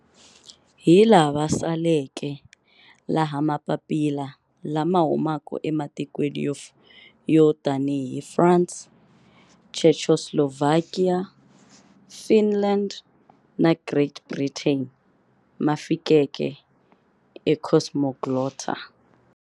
Hi lava saleke, laha mapapila lama humaka ematikweni yo tanihi France, Czechoslovakia, Finland na Great Britain ma fikeke eCosmoglotta.